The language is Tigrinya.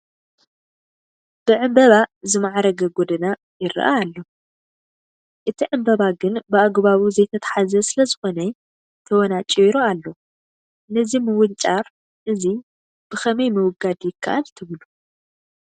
ብዕምበባ ዝማዕረገ ጐደና ይርአ ኣሎ፡፡ እቲ ዕምበባ ግን ብኣግባቡ ዘይተተሓዘ ስለዝኾነ ተወናጪሩ ኣሎ፡፡ ነዚ ምውንጫር እዚ ብኸመይ ምውጋድ ይከኣል ትብሉ?